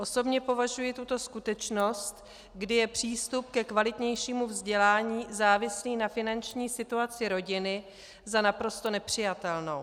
Osobně považuji tuto skutečnost, kdy je přístup ke kvalitnějšímu vzdělání závislý na finanční situaci rodiny, za naprosto nepřijatelnou.